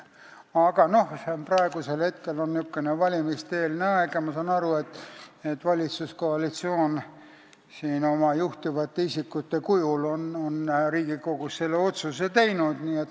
Aga praegu on valimiste-eelne aeg ja ma saan aru, et valitsuskoalitsioon on siin Riigikogus oma juhtivate isikute kujul otsuse teinud.